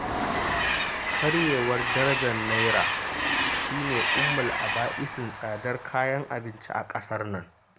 Karyewar darajar Naira shi ne umul'aba'isin tsadar kayan abinci a ƙasar nan.